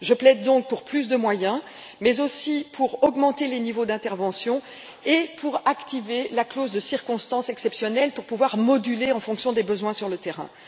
Je plaide donc pour plus de moyens, mais aussi pour augmenter les niveaux d'intervention et pour activer la clause de circonstances exceptionnelles afin de pouvoir moduler les aides en fonction des besoins sur le terrain.